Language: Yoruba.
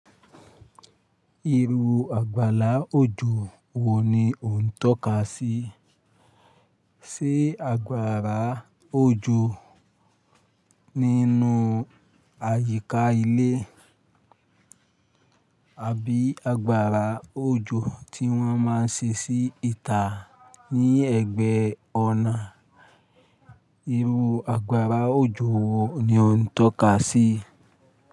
Irú àgbàlá òjò wo ni o ń tọ́ka sí? Ṣé àgbàrá òjò nínú àyíká ilé, àbí àgbàrá òjò tí wọ́n máa ń ṣe sí ìta ní ẹ̀gbẹ́ ọ̀nà? Irú àgbàrá òjò wo ni o ń tọ́ka sí?